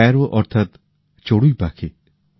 Sparrow অর্থাৎ চড়ুই পাখি